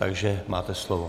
Takže máte slovo.